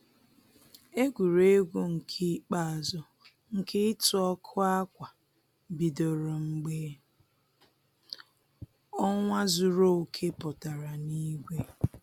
Egwuregwu nke ikpeazụ nke ịtụ ọkụ ákwà bidoro mgbe ọnwa zuru oke pụtara n'igwe